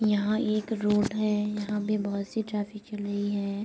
यहाँ एक रोड है | यहाँ पे बहुत सी ट्रैफिक चल रही है |